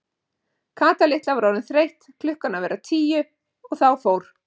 Kata litla var orðin þreytt klukkan að verða tíu og þá fór